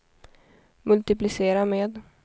multiplicera med